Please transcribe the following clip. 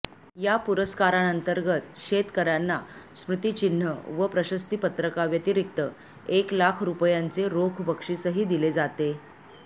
या पुरस्कारांतर्गत शेतकऱ्यांना स्मृतिचिन्ह व प्रशस्तीपत्रकाव्यतिरिक्त एक लाख रुपयांचे रोख बक्षीसही दिले जाते